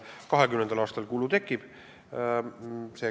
2020. aastal kulu tekib.